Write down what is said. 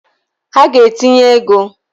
Ha ga-etinye ego!